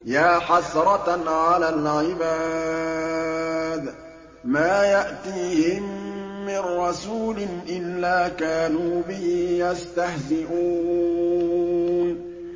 يَا حَسْرَةً عَلَى الْعِبَادِ ۚ مَا يَأْتِيهِم مِّن رَّسُولٍ إِلَّا كَانُوا بِهِ يَسْتَهْزِئُونَ